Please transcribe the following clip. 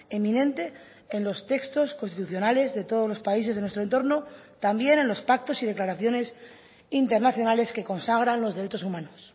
eminente en los textos constitucionales de todos los países de nuestro entorno también en los pactos y declaraciones internacionales que consagran los derechos humanos